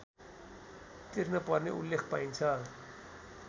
तिर्नपर्ने उल्लेख पाइन्छ